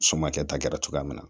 Somakɛta kɛra cogoya min na